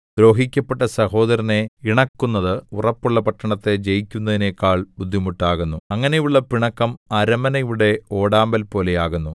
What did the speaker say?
ദ്രോഹിക്കപ്പെട്ട സഹോദരനെ ഇണക്കുന്നത് ഉറപ്പുള്ള പട്ടണത്തെ ജയിക്കുന്നതിനെക്കാൾ ബുദ്ധിമുട്ടാകുന്നു അങ്ങനെയുള്ള പിണക്കം അരമനയുടെ ഓടാമ്പൽപോലെ ആകുന്നു